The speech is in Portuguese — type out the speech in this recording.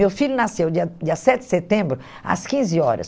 Meu filho nasceu dia dia sete de setembro, às quinze horas.